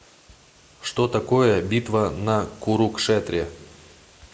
что такое битва на курукшетре